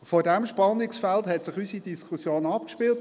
In diesem Spannungsfeld spielte sich unsere Diskussion ab.